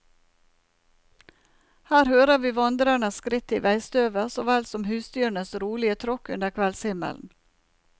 Her hører vi vandrererens skritt i veistøvet, så vel som husdyrenes rolige tråkk under kveldshimmelen.